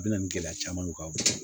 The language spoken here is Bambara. A bɛ na nin gɛlɛya camanw ka